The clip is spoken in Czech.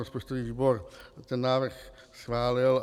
Rozpočtový výbor ten návrh schválil.